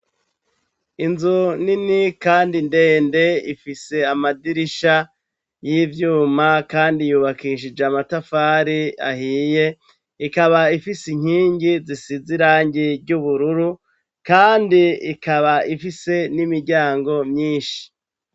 inzu nini kandi ndende ifise amadirisha y'ibyuma kandi yubakishije amatafari ahiye ikaba ifise inkingi zisize irangi ry'ubururu kandi ikaba ifise n'imiryango myinshi